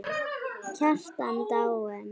Kjartan dáinn!